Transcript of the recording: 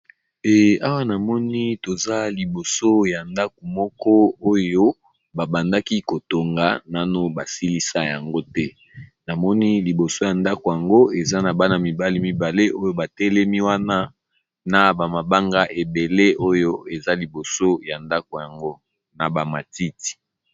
Awa namoni , toza liboso ya ndaku moko oyo ba bandaki kotonga nanu basilisa yango te ,namoni liboso ya ndaku yango eza na bana mibale oyo batelemi wana na ba mabanga ebele oyo eza liboso ya ndaku yango na ba matiti.